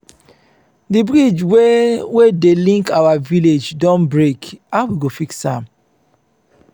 di bridge wey wey dey link our village don break how we go fix am?